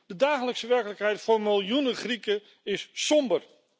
De dagelijkse werkelijkheid voor miljoenen Grieken is somber.